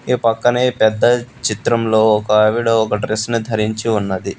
ఈ పక్కనే పెద్ద చిత్రంలో ఒక ఆవిడ ఒక డ్రెస్ ని ధరించి ఉన్నది.